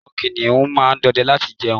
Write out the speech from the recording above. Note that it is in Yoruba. àwọn kiniun ma n dọdẹ láti jẹun